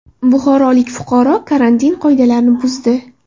Buxorolik fuqaro karantin qoidalarini buzdi .